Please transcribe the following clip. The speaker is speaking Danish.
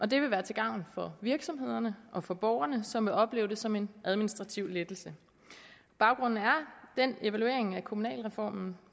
det vil være til gavn for virksomhederne og for borgerne som vil opleve det som en administrativ lettelse baggrunden er den evaluering af kommunalreformen